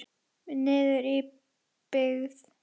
Niður í byggð.